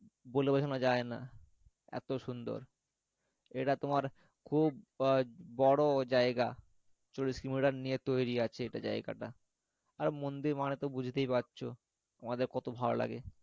বলে বোঝানো যায় না এতো সুন্দর এটা তোমার খুব বড়ো জায়গা চল্লিশ কিলোমিটার নিয়ে তৈরি আছে এটা জায়গাটা আর মন্দির মানে তো বুঝতেই পারছো আমাদের কত ভালো লাগে